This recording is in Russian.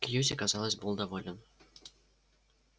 кьюти казалось был доволен